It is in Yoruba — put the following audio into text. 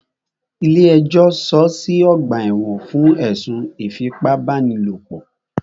Ilé ẹjọ́ sọọ́ sí ọ̀gbà ẹ̀wọ̀n fún ẹ̀sùn ìfipábánilòpò.